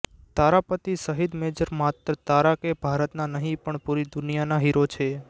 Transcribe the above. તારા પતિ શહિદ મેજર માત્ર તારા કે ભારતના નહિ પણ પુરી દુનિયાના હીરો છે